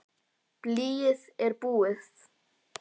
Blýið er búið.